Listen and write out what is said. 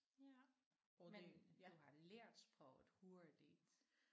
Ja men du har lært sproget hurtigt